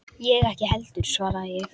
Ég ekki heldur, svaraði ég.